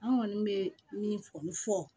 An kɔni bɛ min fɔ